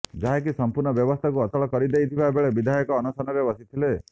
ଯାହାକି ସଂପୂର୍ଣ୍ଣ ବ୍ୟବସ୍ଥାକୁ ଅଚଳ କରିଦେଇଥିବା ବେଳେ ବିଧାୟକ ଅନଶନରେ ବସିଥିଲେ